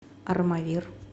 армавир